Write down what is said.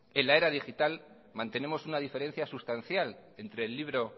en la era digital mantenemos una diferencia sustancial entre el libro